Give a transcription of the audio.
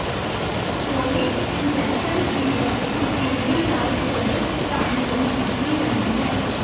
steroid injections ਦੀ ਵਰਤੋਂ ਤੇਜ਼ੀ ਨਾਲ ਸੋਜਸ਼ ਘਟਾਉਣ ਲਈ ਕੀਤੀ ਜਾਂਦੀ ਹੈ